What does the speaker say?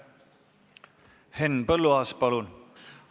Henn Põlluaas, palun!